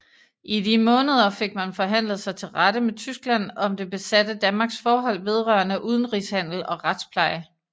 I de måneder fik man forhandlet sig til rette med Tyskland om det besatte Danmarks forhold vedrørende udenrigshandel og retspleje